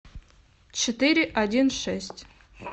четыре один шесть